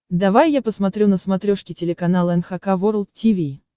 давай я посмотрю на смотрешке телеканал эн эйч кей волд ти ви